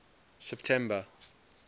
september